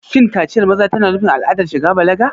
Shin kaciyar maza tana nufin al'adar shiga balaga?